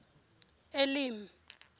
elim